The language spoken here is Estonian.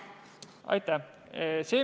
Aitäh!